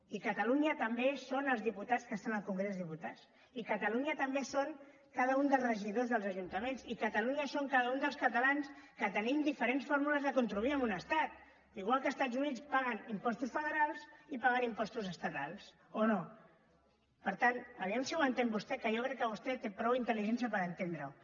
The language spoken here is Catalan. i catalunya també són els diputats que estan al congrés dels diputats i catalunya també són cada un dels regidors dels ajuntaments i catalunya són cada un dels catalans que tenim diferents fórmules de contribuir en un estat igual que a estats units paguen impostos federals i paguen impostos estatals o no per tant a veure si ho entén vostè que jo crec que vostè té prou intel·ligència per entendre ho